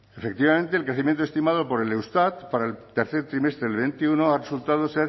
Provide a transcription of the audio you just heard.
efectivamente el crecimiento estimado por el eustat para el tercer trimestre del veintiuno ha resultado